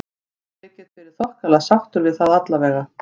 Ég get verið þokkalega sáttur við það allavega.